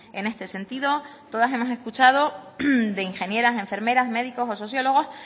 en este sentido todas hemos escuchado de ingenieras enfermeras médicos o sociólogos